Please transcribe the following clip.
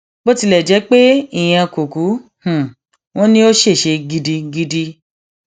bó tilẹ jẹ pé ìyẹn kò kú wọn ni ò ṣèṣe gidigidi